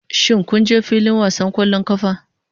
Shin kun je filin wasan ƙwallon ƙafa?